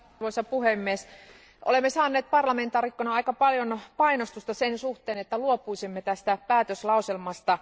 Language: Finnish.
Arvoisa puhemies, olemme saaneet parlamentaarikkoina aika paljon painostusta sen suhteen, että luopuisimme tästä päätöslauselmasta.